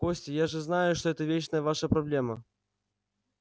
костя я же знаю что это вечная ваша проблема